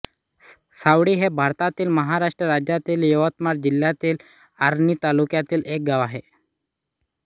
सावळी हे भारतातील महाराष्ट्र राज्यातील यवतमाळ जिल्ह्यातील आर्णी तालुक्यातील एक गाव आहे